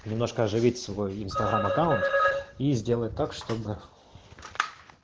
немножко оживить свой инстаграм аккаунт и сделать так чтобы